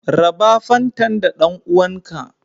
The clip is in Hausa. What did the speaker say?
Raɓa fantan da dan'uwan ka.